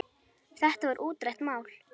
Þetta var útrætt mál.